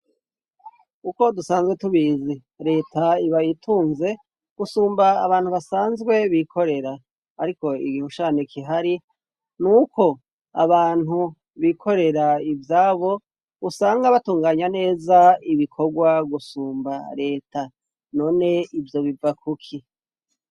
uko dusanzwe tubizi leta ibayitunze gusumba abantu basanzwe bikorera ariko igihushane kihari nuko abantu bikorera ivyabo usanga batunganya neza ibikorwa gusumba leta none ivyo biva kuki